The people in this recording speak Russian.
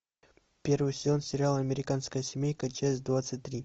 первый сезон сериала американская семейка часть двадцать три